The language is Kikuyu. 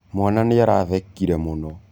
Mwana nĩarathekĩre mũno